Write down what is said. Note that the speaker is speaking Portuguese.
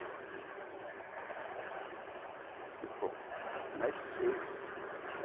Eu falei, pô... Mais seis?